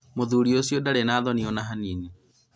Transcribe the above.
mũthuri ũcio ndarĩ na thoni ona hanini